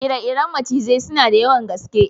Ire-iren macizai suna da yawan gaske.